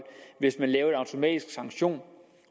hvis man laver en automatisk sanktion